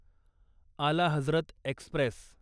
आला हजरत एक्स्प्रेस